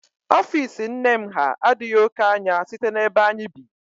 Ofiisi nne m ha adịghị oké anya site n'ebe anyị bi